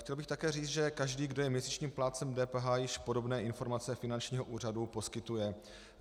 Chtěl bych také říci, že každý, kdo je měsíčním plátcem DPH, již podobné informace finančního úřadu poskytuje.